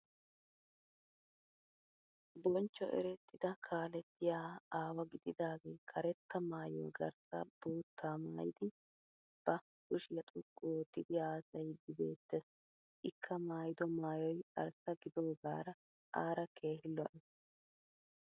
Bonchcho erettida kaalettiya aawa gididagee karetta maayuwa garssa bootta maayidi ba kushiya xoqqu oottidi haasayiiddi beettes. Ikka maayido maayoy arssa gidoogaara aara keehin lo'es.